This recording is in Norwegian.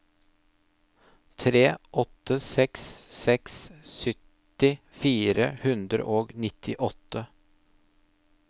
tre åtte seks seks sytti fire hundre og nittiåtte